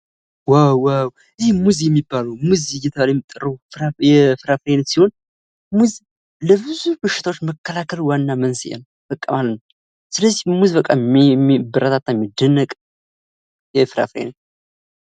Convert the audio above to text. ዋው ዋው ይህ ሙዝ የሚባለው ፣ሙዝ እየተባለ የሚጠራው የፍራፍሬ አይነት ሲሆን ሙዝ ለብዙ በሽታወች መከላከል ዋና መንስኤ ነው። ስለዚህ ሙዝ በቃ የሚበረታታ የሚደነቅ የፍራፍሬ አይነት ነው።